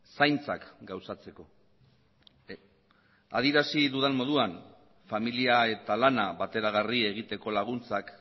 zaintzak gauzatzeko adierazi dudan moduan familia eta lana bateragarri egiteko laguntzak